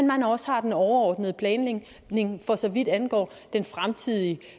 man også har den overordnede planlægning for så vidt angår den fremtidige